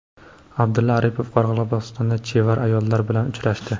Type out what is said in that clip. Abdulla Aripov Qoraqalpog‘istonda chevar ayollar bilan uchrashdi.